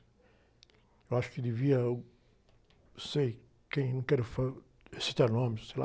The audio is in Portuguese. Eu acho que devia o, não sei. Quem? Não quero, citar nomes, sei lá,